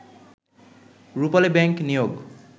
রূপালী bank নিয়োগ